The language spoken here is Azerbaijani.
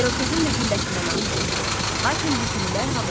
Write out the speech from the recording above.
İrokezin də gülləsindən atəş açıldı, lakin bu güllə havaya getdi.